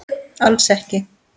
Alls ekki